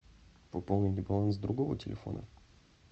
пополнить баланс другого телефона